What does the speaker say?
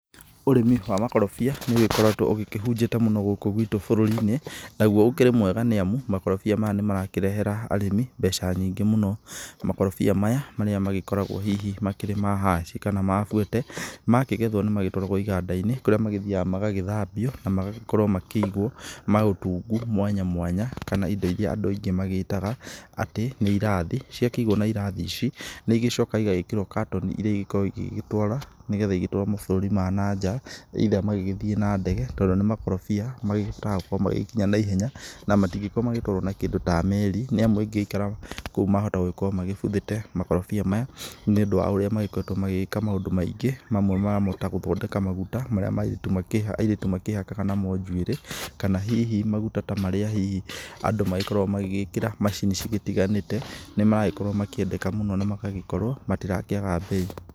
Ũrĩmi wa makorobia nĩ ũgĩkoretwo ũgĩkĩhũnjĩte mũno gũkũ gwĩtũ bũrũri-inĩ nagũo ũkĩrĩ mwega nĩamu makorobia maya nĩ marakĩrehera arĩmi mbeca nyingĩ mũno, makorobia maya marĩa magĩkoragwo hihi makĩrĩ ma Hash kana ma Fuete makĩgethwo nĩ magĩtwaragwo iganda-inĩ kũrĩa magĩthiaga magagĩthambio na magĩkorwo magĩkĩigwo na ũtungu mwanya mwanya kana indo iria aingĩ magĩtaga atĩ nĩ irathi, cia kĩigwo na irathi ici nĩ igĩcokaga igagĩkĩrwo katoni irĩa igĩgĩkoragwo igĩgĩtũara nĩgetha igĩtũarwo mabũrũri ma nanjaa either magĩgĩthiĩ na ndege tondũ nĩ makorobia magĩkĩhotaga gũkorwo magĩkĩnya na ihenya na matingĩkorwo magĩtwarwo na kĩndũ ta meri nĩamũ ĩngĩ ikara kũu mahota gũkorwo magĩbuthĩte, makorobia maya nĩ ũndũ wa ũrĩa makoretwo magĩgĩka maũndũ maingĩ mamwe mamo ta gũthondeka maguta marĩa airĩtu makĩhakaga namo njuĩrĩ kana hihi maguta ta marĩa hihi andũ magĩkoragwo magĩgĩkĩra macini cigĩtiganĩte magakorwo makĩendeka mũno na magagĩkorwo matĩrakĩaga bei.